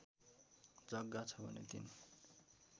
जग्गा छ भने ३